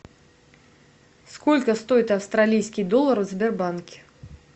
сколько стоит австралийский доллар в сбербанке